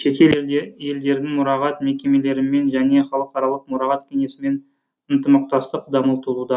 шетел елдердің мұрағат мекемелерімен және халықаралық мұрағат кеңесімен ынтымақтастық дамытылуда